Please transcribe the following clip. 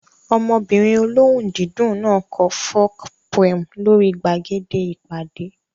Ọmọbìnrin olóhùn dídùn náà kọ folk poem lórí gbàgede ìpàdé